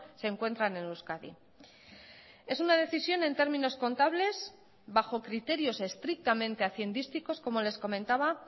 se encuentran en euskadi es una decisión en términos contables bajo criterios estrictamente haciendísticos como les comentaba